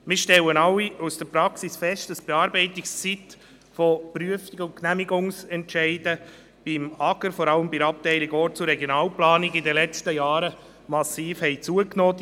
Wir alle stellen in der Praxis fest, dass die Bearbeitungszeit von Prüfungs- und Genehmigungsentscheiden beim AGR, vor allem bei der Abteilung Orts- und Regionalplanung, in den vergangenen Jahren massiv zugenommen hat.